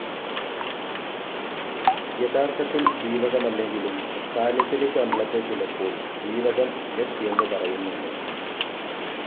യഥാർത്ഥത്തിൽ ജീവകമല്ലെങ്കിലും സാലിസിലിക് അമ്ലത്തെ ചിലപ്പോൾ ജീവകം സ്‌ എന്ന് പറയുന്നുണ്ട്.